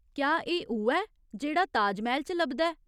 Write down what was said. क्या एह् उ'ऐ जेह्ड़ा ताजमैह्‌ल च लभदा ऐ?